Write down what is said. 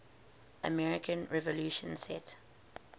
american revolution set